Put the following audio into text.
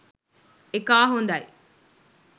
එකා හොඳයි